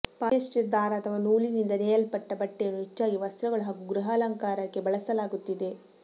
polyester ದಾರ ಅಥವಾ ನೂಲಿನಿಂದ ನೇಯಲ್ಪಟ್ಟ ಬಟ್ಟೆಯನ್ನು ಹೆಚ್ಚಾಗಿ ವಸ್ತ್ರಗಳು ಹಾಗೂ ಗೃಹಾಲಂಕಾರಕ್ಕೆ ಬಳಸಲಾಗುತ್ತಿದೆ